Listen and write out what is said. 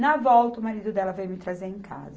Na volta, o marido dela veio me trazer em casa.